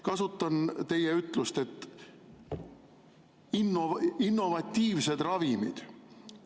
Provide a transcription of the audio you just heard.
Kasutan teie ütlust "innovatiivsed ravimid".